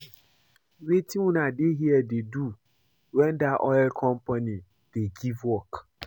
Wetin una dey here dey do wen dat oil company dey give work